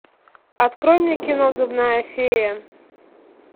открой мне кино зубная фея